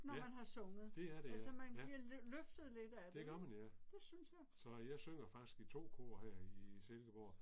Ja. Det er det ja, ja. Det gør man ja. Så jeg synger faktisk i 2 kor her i Silkeborg